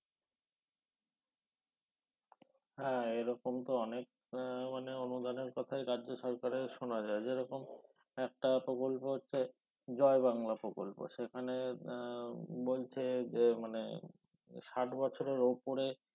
হ্যা এরকম তো অনেক মানে অনুদানের কথাই রাজ্য সরকারের শোনা যায় যেরকম একটা প্রকল্প হচ্ছে জয় বাংলা প্রকল্প সেখানে আহ বলছে যে মানে ষাট বছরের উপরে